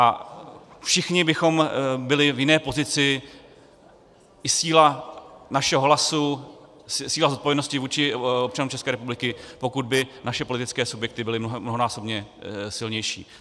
A všichni bychom byli v jiné pozici, i síla našeho hlasu, síla zodpovědnosti vůči občanům České republiky, pokud by naše politické subjekty byly mnohonásobně silnější.